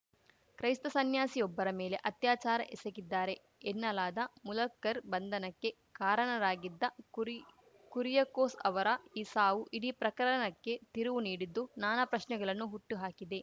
ಕ್ರೈಸ್ತ ಸನ್ಯಾಸಿಯೊಬ್ಬರ ಮೇಲೆ ಅತ್ಯಾಚಾರ ಎಸಗಿದ್ದಾರೆ ಎನ್ನಲಾದ ಮುಲಕ್ಕರ್ ಬಂಧನಕ್ಕೆ ಕಾರಣರಾಗಿದ್ದ ಕುರಿ ಕುರಿಯಕೋಸ್‌ ಅವರ ಈ ಸಾವು ಇಡೀ ಪ್ರಕರಣಕ್ಕೆ ತಿರುವು ನೀಡಿದ್ದು ನಾನಾ ಪ್ರಶ್ನೆಗಳನ್ನು ಹುಟ್ಟುಹಾಕಿದೆ